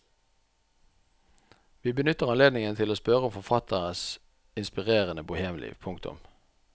Vi benytter anledningen til å spørre om forfatteres inspirerende bohemliv. punktum